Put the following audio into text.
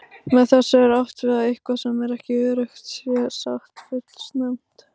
Með þessu er átt við að eitthvað sem ekki er öruggt sé sagt fullsnemma.